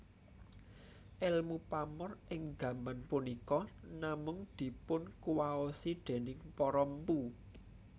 Èlmu pamor ing gaman punika namung dipunkuwaosi déning para mpu